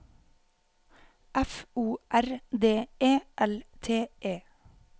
F O R D E L T E